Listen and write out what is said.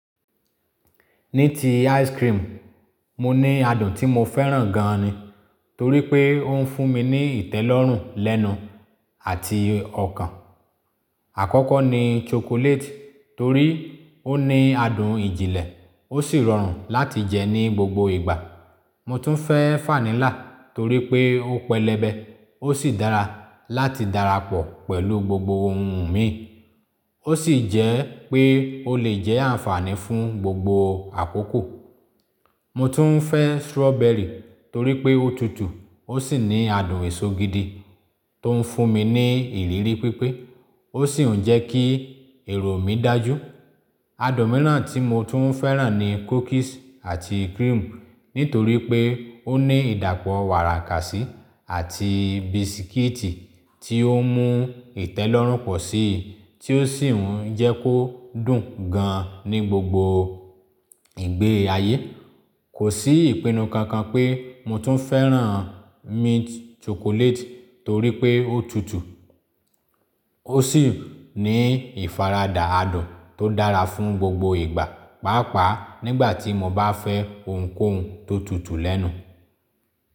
Ní ti ice cream, mo ní adùn tí mo fẹ́ràn gan ni, torí pé ó ń fún mi ní ìtẹ́lọ́rùn lẹ́nu àti ọkàn. Àkọ́kọ́ ni chocolate, torí ó ní adùn ìjìnlẹ̀, ó sì rọrùn láti jẹ ní gbogbo ìgbà. Mo tún fẹ́ vanilla, torí pé ó pẹlẹbẹ, ó sì dára láti darapọ̀ pẹ̀lú gbogbo ohun mi. Ó sì jẹ́ pé ó lè jẹ́ àǹfààní fún gbogbo àkókò. Mo tún fẹ́ strawberry, torí pé ó tutù, ó sì ní adùn èso gidi tó ń fún mi ní ìrírí pípé. Ó sì ń jẹ́ kí èrò mi dájú. Adùn miran tí mo tún fẹ́ràn ni cookies àti cream, nítorí pé ó ní ìdàpọ̀ wàràkàsí àti bisikíìtì tí ó mú ìtẹ́lọ́rùn pọ̀ sí i, tí ó sì ń jẹ́ kó dùn gan ní gbogbo ìgbé ayé. Kò sí ìpinnu kankan pé mo tún fẹ́ràn mint chocolate, torí pé ó tutù. Ó sì ní ìfaradà adùn tó dára fún gbogbo ìgbà, pàápàá nígbà tí mo bá fẹ́ ohunkóhun tó tutù lẹ́nu.